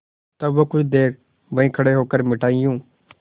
तब वह कुछ देर वहीं खड़े होकर मिठाइयों